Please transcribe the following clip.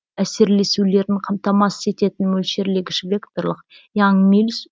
әсерлесулерін қамтамасыз ететін мөлшерлегіш векторлық янг миллс